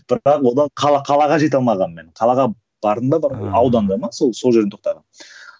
одан қалаға жете алмағанмын мен қалаға бардым ба ауданда ма сол сол жерде тоқтағанмын